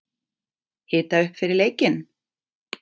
Hita upp fyrir leikinn?